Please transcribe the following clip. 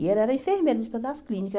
E ela era enfermeira do Hospital das Clínicas.